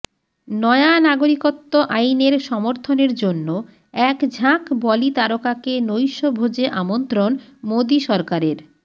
নয়া নাগরিকত্ব আইনের সমর্থনের জন্য একঝাঁক বলি তারকাকে নৈশভোজে আমন্ত্রণ মোদী সরকারের